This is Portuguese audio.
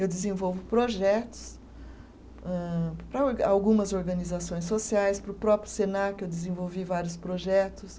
Eu desenvolvo projetos âh para or, algumas organizações sociais, para o próprio Senac eu desenvolvi vários projetos.